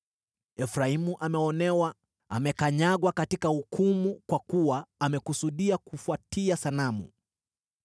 Efraimu ameonewa, amekanyagwa katika hukumu kwa kuwa amekusudia kufuatia sanamu.